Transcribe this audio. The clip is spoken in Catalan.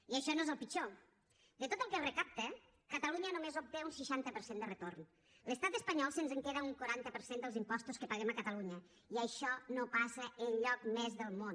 i això no és el pitjor de tot el que es recapta catalunya només obté un seixanta per cent de retorn l’estat espanyol se’ns en queda un quaranta per cent dels impostos que paguem a catalunya i això no passa enlloc més del món